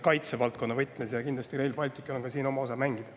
Kindlasti on Rail Balticul siin oma osa mängida.